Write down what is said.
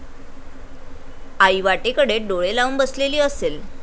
आई वाटेकडे डोळे लावून बसलेली असेल